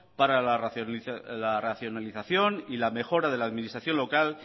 para racionalización y la mejora de administración local